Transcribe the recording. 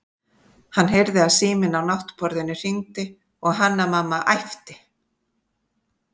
Hann heyrði að síminn á náttborðinu hringdi og Hanna-Mamma æpti